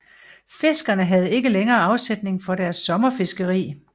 Fiskerne havde ikke længere afsætning for deres sommerfiskeri